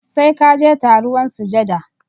Sai ka je taruwan sujada